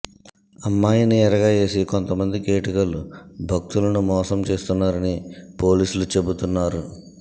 అమ్మాయిని ఎరగా వేసి కొంత మంది కేటుగాళ్లు భక్తులను మోసం చేస్తున్నారని పోలీసులు చెబుతున్నారు